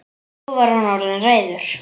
Nú var hann orðinn reiður.